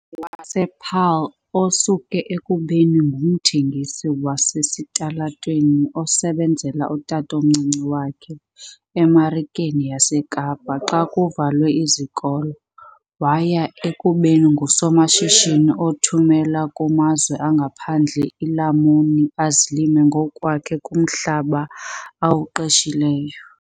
wasePaarl, osuke ekubeni ngumthengisi wasesitalatweni osebenzela utatomncinci wakhe eMarikeni yaseKapa xa kuvalwe izikolo waya ekubeni ngusomashishini othumela kumazwe angaphandle iilamuni azilima ngokwakhe kumhlaba awuqeshileyo.